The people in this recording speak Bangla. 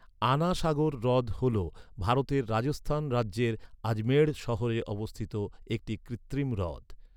আনা সাগর হ্রদ হল ভারতের রাজস্থান রাজ্যের আজমেঢ় শহরে অবস্থিত একটি কৃত্রিম হ্রদ।